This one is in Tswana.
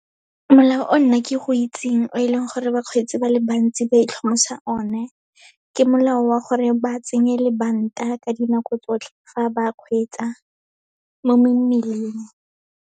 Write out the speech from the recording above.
Molao o nna ke go itseng o e leng gore bakgweetsi ba le bantsi ba one, ke molao wa gore ba tsenye lebanta ka dinako tsotlhe, fa ba kgweetsa mo mmileng.